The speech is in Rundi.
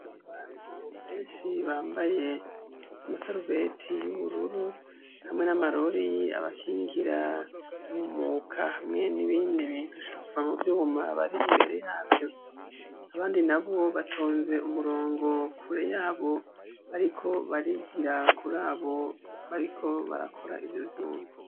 Abantu benshi bambaye amasarubeti y'ubururu hamwe n'amarori abakingira ntumuka hamwe n'ibindi bintu shara kuvamubyuma bari imbere yabyo abandi na bo batonze umurongo kure yabo ariko barigirakure abo bariko barakora ivyo vyuma.